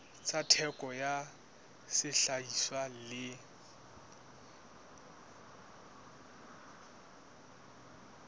tsa theko ya sehlahiswa le